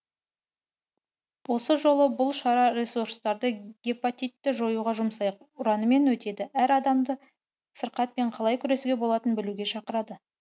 осы жолы бұл шара ресурстарды гепатитті жоюға жұмсайық ұранымен өтеді әр адамды сырқатпен қалай күресуге болатынын білуге шақырады